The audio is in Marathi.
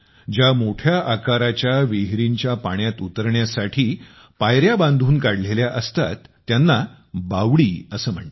ज्या मोठ्या आकाराच्या विहिरींच्या पाण्यात उतरण्यासाठी पायऱ्या बांधून काढलेल्या असतात त्यांना बावडी असे म्हणतात